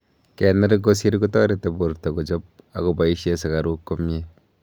kener kosir kotareti porto kochop akopoishee sugaruk komie